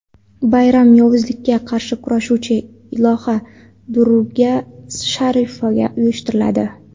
Bayram yovuzlikka qarshi kurashuvchi iloha Durga sharafiga uyushtiriladi.